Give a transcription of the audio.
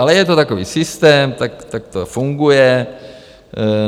Ale je to takový systém, tak to funguje.